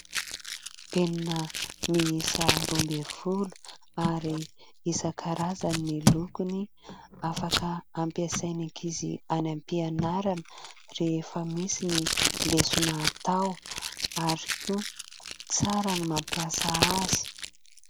Penina miisa roa ambin'ny folo ary isan-karazany ny lokony. Afaka ampiasain'ny ankizy any ampianarana rehefa misy ny lesona atao ary koa tsara ny mampiasa azy.